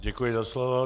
Děkuji za slovo.